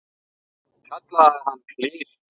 Hún kallaði hann klisju.